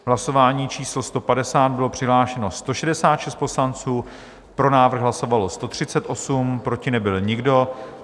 V hlasování číslo 150 bylo přihlášeno 166 poslanců, pro návrh hlasovalo 138, proti nebyl nikdo.